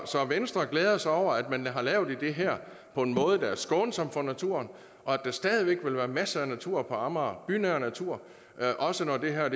så venstre glæder sig over at man har lavet det her på en måde der er skånsom for naturen og at der stadig væk vil være masser af natur på amager bynær natur også når det her